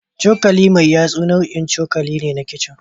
cokali mai yatsa nau'in cokali ne a kicin